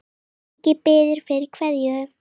Siggi biður fyrir kveðju.